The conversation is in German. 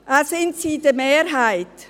Zudem sind sie in der Mehrheit.